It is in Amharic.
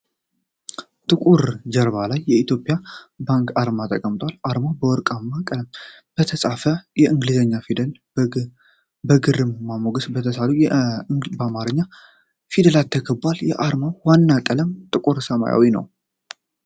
ጥቁር ጀርባ ላይ የኢትዮጵያ ብሔራዊ ባንክ አርማ ተቀምጧል። አርማው በወርቃማ ቀለም በተፃፉ የእንግሊዝኛ ፊደላትና በግርማ ሞገስ በተሳሉ የአማርኛ ፊደላት ተከቧል። የአርማው ዋና ቀለም ጥቁር ሰማያዊ ነው።